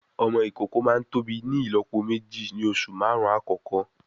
Ọmọ ìkókó máa tóbi ní ìlópo méjì ní oṣù márùn-ún àkọ́kọ́